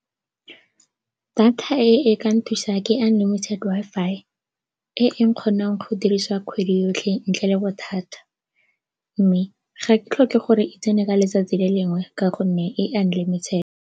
Data e e ka nthusang ke unlimited Wi-Fi e e kgonang go dirisiwa kgwedi yotlhe ntle le bothata mme ga ke tlhoke gore e tsene ka letsatsi le lengwe ka gonne e unlimited.